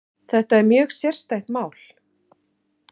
Þetta er mjög sérstætt mál